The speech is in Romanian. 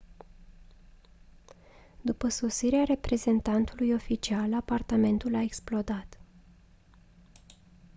după sosirea reprezentantului oficial apartamentul a explodat